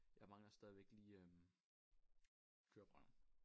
Jeg mangler stadigvæk lige øh køreprøven